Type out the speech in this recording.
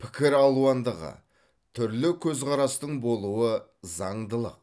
пікір алуандығы түрлі көзқарастың болуы заңдылық